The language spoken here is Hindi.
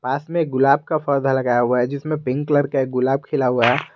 पास में गुलाब का पौधा लगाया हुआ है जिसमें पिंक कलर के गुलाब खिला हुआ है।